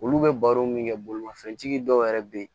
Olu bɛ baro min kɛ bolimafɛntigi dɔw yɛrɛ be yen